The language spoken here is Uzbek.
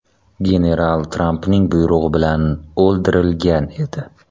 General Trampning buyrug‘i bilan o‘ldirilgan edi.